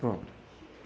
Pronto.